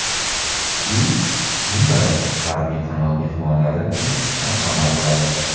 U, jumladan, G‘arbiy qanot mehmonlari uchun ham amal qiladi.